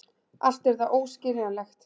Allt er það óskiljanlegt.